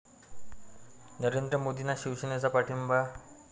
नरेंद्र मोदींना शिवसेनेचा पाठिंबा